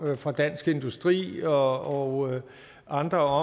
fra dansk industri og andre